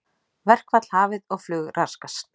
Verkfall hafið og flug raskast